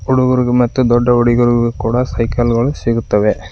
ಚಿಕ್ಕ ಹುಡುಗರು ಮತ್ತು ದೊಡ್ಡ ಹುಡುಗರಿಗು ಕೂಡ ಸೈಕಲ್ ಗಳು ಸಿಗುತ್ತವೆ.